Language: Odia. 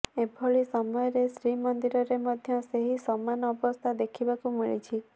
ଏଭଳି ସମୟରେ ଶ୍ରୀମନ୍ଦିରରେ ମଧ୍ୟ ସେହି ସମାନ ଅବସ୍ଥା ଦେଖିବାକୁ ମିଳିଛି